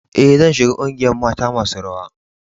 E,zan shiga ƙungiyan mata masun rawa.